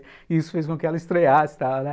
E isso fez com que ela estreasse e tal, né.